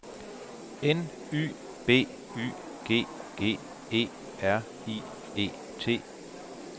N Y B Y G G E R I E T